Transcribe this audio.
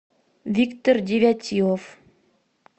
виктор девятилов